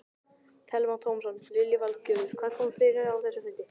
Telma Tómasson: Lillý Valgerður, hvað kom fram á þessum fundi?